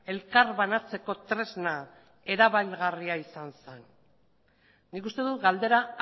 elkar banatzeko tresna erabilgarria izan zen nik uste dut galdera